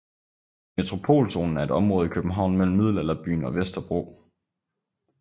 Metropolzonen er et område i København mellem middelalderbyen og Vesterbro